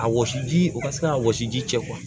A wɔsi ji o ka se ka wɔsi ji jɛ